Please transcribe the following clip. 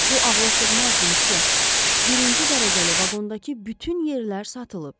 Bu ağlasığmazdır, Müsyo, birinci dərəcəli vaqondakı bütün yerlər satılıb.